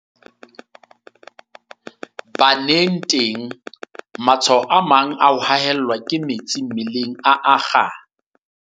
Baneng teng, matshwao a mang a ho haellwa ke metsi mmeleng a akga.